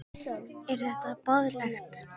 Er þetta boðlegt?